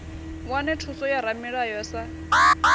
wane thuso ya ramulayo sa